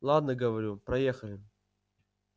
ладно говорю проехали